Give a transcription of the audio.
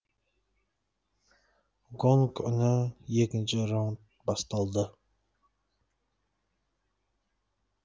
гонг үні екінші раунд басталды